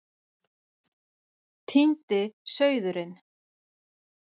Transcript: Týndi sauðurinn